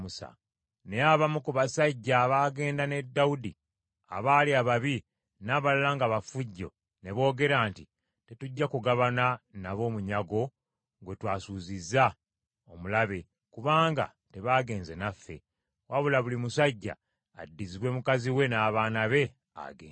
Naye abamu ku basajja abaagenda ne Dawudi abaali ababi n’abalala nga bafujjo, ne boogera nti, “Tetujja kugabana nabo munyago gwe twasuuzizza omulabe, kubanga tebaagenze naffe. Wabula, buli musajja addizibwe mukazi we n’abaana be agende.”